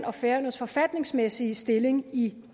og færøernes forfatningsmæssige stilling i